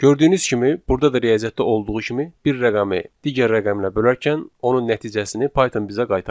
Gördüyünüz kimi burda da riyaziyyatda olduğu kimi bir rəqəmi digər rəqəmlə bölərkən onun nəticəsini Python bizə qaytardı.